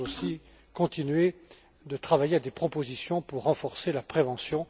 Nous allons aussi continuer de travailler à des propositions pour renforcer la prévention.